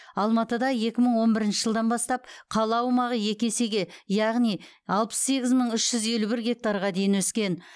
алматыда екі мың он бірінші жылдан бастап қала аумағы екі есеге яғни алпыс сегіз мың үш жүз елу бір гектарға дейін өскен